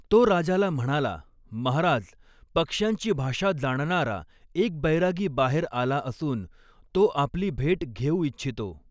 तो राजाला म्हणाला, महाराज, पक्ष्यांची भाषा जाणणारा एक बैरागी बाहेर आला आसून, तो आपली भेट घेऊ इच्छितो.